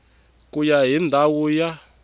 ku ya hi ndhawu ya